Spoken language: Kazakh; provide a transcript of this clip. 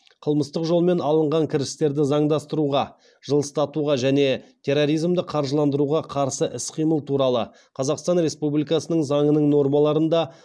қылмыстық жолмен алынған кірістерді заңдастыруға және терроризмді қаржыландыруға қарсы іс қимыл туралы қазақстан республикасының заңының нормаларында